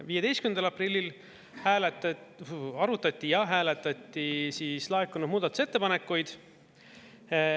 15. aprillil arutati ja hääletati laekunud muudatusettepanekuid.